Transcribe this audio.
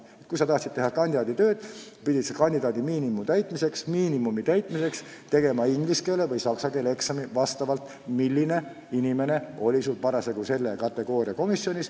Kui sa tahtsid teha kandidaaditöö võõrkeeles, siis pidid kandidaadimiinimumi täitmiseks tegema inglise või saksa keele eksami – vastavalt sellele, millist võõrkeelt oskav inimene oli parasjagu selle kategooria komisjonis.